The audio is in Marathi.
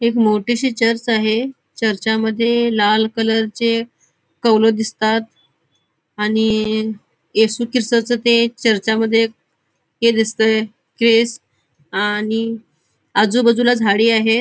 एक मोठीशी चर्च आहे चर्चा मधे लाल कलरचे कवल दिसतात आणि येशु ख्रिस्ताच ते चर्चामध्ये हे दिसतय क्रिस आणि आजूबाजूला झाडी आहेत.